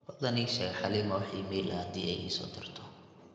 fadhlan ii sheg halima wa iimayl ah hadii ey iso dirtay